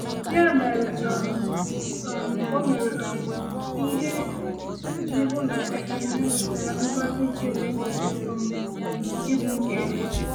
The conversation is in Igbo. “Ya mere, um um o mere um ihe iji hụ na Ekene nweta ngọzi nke kwesịrị um ịbụ nke ya.”